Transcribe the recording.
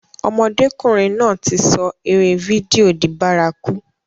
Ọmọdékùnrin náà ti sọ eré fídíò di bárakú.